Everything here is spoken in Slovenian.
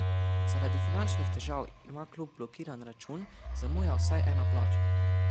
Zaradi finančnih težav ima klub blokiran račun, zamuja vsaj ena plača.